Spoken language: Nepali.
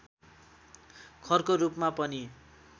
खरको रूपमा पनि